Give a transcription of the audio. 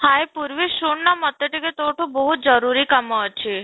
hye, Purvi ଶୁଣ ନା ମୋତେ ଯୋଉ ତା ଠୁ ଜରୁରୀ କାମ ଅଛି